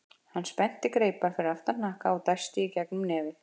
Hann spennti greipar fyrir aftan hnakka og dæsti í gegnum nefið.